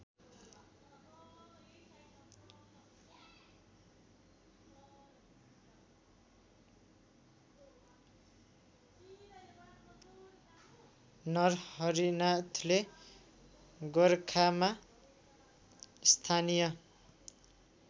नरहरिनाथले गोरखामा स्थानीय